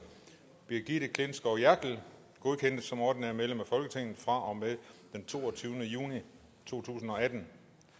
brigitte klintskov jerkel godkendes som ordinært medlem af folketinget fra og med den toogtyvende juni to tusind og atten